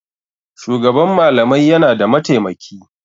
Shugaban malamai yana da mataimaki.